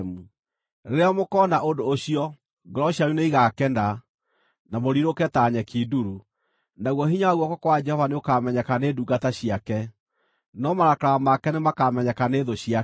Rĩrĩa mũkoona ũndũ ũcio, ngoro cianyu nĩigakena, nawe ũrirũke ta nyeki nduru; naguo hinya wa guoko kwa Jehova nĩũkamenyeka nĩ ndungata ciake, no marakara make nĩmakamenyeka nĩ thũ ciake.